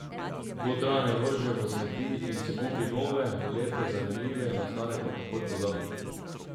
Dotrajane vrže v smeti in si kupi nove, lepe zanimive, na stare pa takoj pozabi.